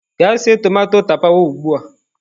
Gaa sie tomato tapawa ugbu a!.